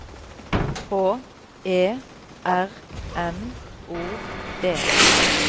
H E R M O D